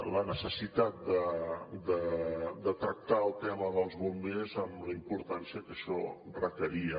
la necessitat de tractar el tema dels bombers amb la importància que això requeria